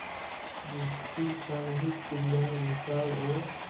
जिसकी सामूहिक क्रियाएँ विस्तार और